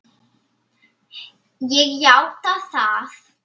Ég játa það.